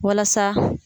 Walasa